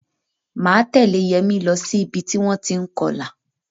Máa tẹ̀lẹ́ Yẹmi lọ sí ìbi tí wọ́n ti ń kọlà.